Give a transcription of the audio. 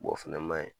o fɛnɛ ma ɲi